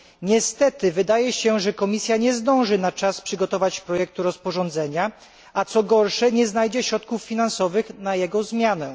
Niestety wydaje się, że Komisja nie zdąży przygotować na czas projektu rozporządzenia, a co gorsze nie znajdzie środków finansowych na jego zmianę.